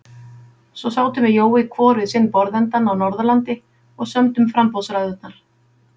Svo sátum við Jói hvor við sinn borðsendann á Norðurlandi og sömdum framboðsræðurnar.